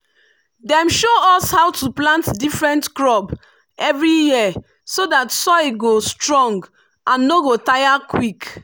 dem show us how to plant different crop every year so that soil go strong and no go tire quick.